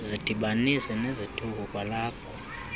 zidibanise nezithuko kwalapho